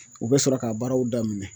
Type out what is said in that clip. U bɛ sɔrɔ ka baaraw daminɛ